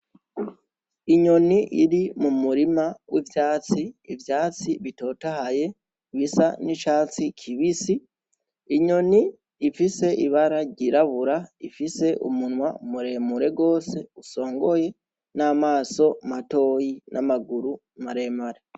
Inyoni iri mu murima w'ivyatsi, ivyatsi bitotahaye bisa n'icatsi kibisi, inyoni ifise ibara ryirabura ifise umunwa muremure gose usongoye n'amaso matoyi n'amaguru maremare.